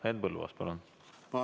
Henn Põlluaas, palun!